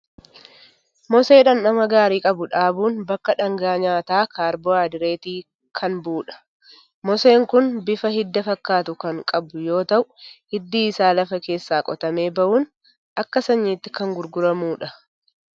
Mosee dhamdhama gaarii qabu dhaabuun bakka dhaangaa nyaataa kaarboohaayidireetii kan bu'udha. Moseen kun bifa hidda fakkatu kan qabu yoo ta'u, hiddi isaa lafa keessaa qotamee bahuun akka sanyiitti kan gurguramudha.